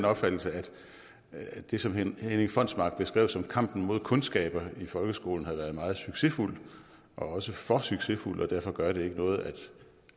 opfattelse at det som herning fonsmark beskrev som kampen mod kundskaber i folkeskolen har været meget succesfuld og også for succesfuld og derfor gør det ikke noget